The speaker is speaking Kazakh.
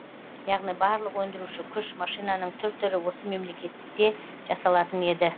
яғни барлық өндіруші күш машинаның түр түрі осы мемлекетте жасалатын еді